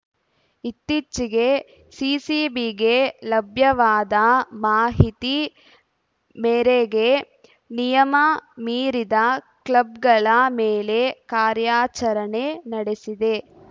ಇತ್ತೀಚಿಗೆ ಸಿಸಿಬಿಗೆ ಲಭ್ಯವಾದ ಮಾಹಿತಿ ಮೇರೆಗೆ ನಿಯಮ ಮೀರಿದ ಕ್ಲಬ್‌ಗಳ ಮೇಲೆ ಕಾರ್ಯಾಚರಣೆ ನಡೆಸಿದೆ